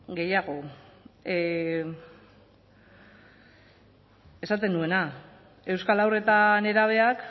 gehiago esaten nuena euskal haur eta nerabeak